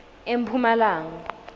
emphumalanga